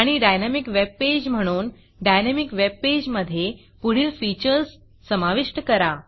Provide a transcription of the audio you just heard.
आणि dynamic web page म्हणून dynamic web page मधे पुढील फीचर्स समाविष्ट करा